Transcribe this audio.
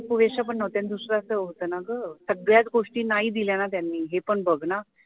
पुरेश्या पण नव्हत्या आणि दुसर असं होतं न ग सगळ्याच गोष्टी नाही दिल्या ना त्यांनी हे पण बघ ना